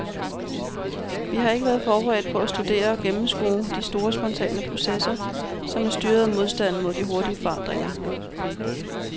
Vi har ikke været forberedt på at studere og gennemskue de store spontane processer, som er styret af modstanden mod de hurtige forandringer.